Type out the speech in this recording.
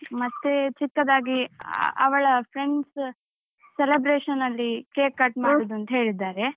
ಮತ್ತೆ ಚಿಕ್ಕದಾಗಿ ಅವಳ friends celebration ಅಲ್ಲಿ cake cut ಮಾಡುದಂತ ಹೇಳಿದ್ದಾರೆ.